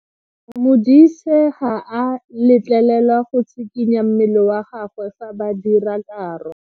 Modise ga a letlelelwa go tshikinya mmele wa gagwe fa ba dira karo.